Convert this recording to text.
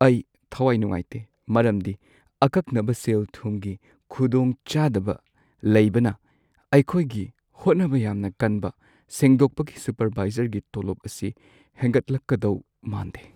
ꯑꯩ ꯊꯋꯥꯏ ꯅꯨꯡꯉꯥꯏꯇꯦ ꯃꯔꯝꯗꯤ ꯑꯀꯛꯅꯕ ꯁꯦꯜ-ꯊꯨꯝꯒꯤ ꯈꯨꯗꯣꯡꯆꯥꯗꯕ ꯂꯩꯕꯅ ꯑꯩꯈꯣꯏꯒꯤ ꯍꯣꯠꯅꯕ ꯌꯥꯝꯅ ꯀꯟꯕ ꯁꯦꯡꯗꯣꯛꯄꯒꯤ ꯁꯨꯄꯔꯚꯥꯏꯖꯔꯒꯤ ꯇꯣꯂꯣꯞ ꯑꯁꯤ ꯍꯦꯟꯒꯠꯂꯛꯀꯗꯧ ꯃꯥꯟꯗꯦ꯫